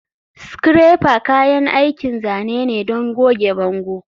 Scraper kayan aikin zane ne don goge bango.